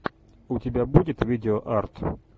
у тебя будет видео арт